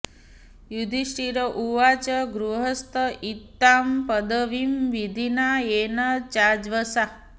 युधिष्ठिर उवाच गृहस्थ एतां पदवीं विधिना येन चाञ्जसा